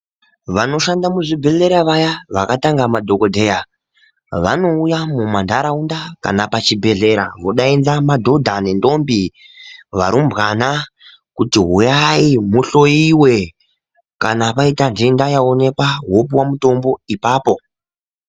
Vanoshanda muzvibhedhlera vaya, vakatanga madhokodheya, vanowuya mumandarawunda kana pachibhedhlera, vodayidza madodha nendombi, varumbwana kuti wuyayi muhloyiwe. Kana payita denda yawonekwa wopuwa mutombo ipapo.